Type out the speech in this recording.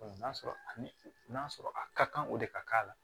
n'a sɔrɔ ani n'a sɔrɔ a ka kan o de ka k'a la